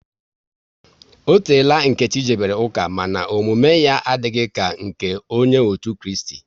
Ọ teela Nkechi jebere ụka, mana omume ya adịghị ka nke onye otu Kristi